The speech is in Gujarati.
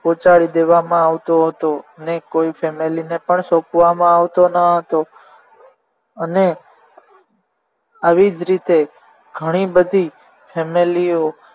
પોચાડી દેવામાં આવતો હતો અને કોઈ family ને પણ સોંપવામાં આવતો ન હતો અને આવી જ રીતે ઘણી બધી family ઓ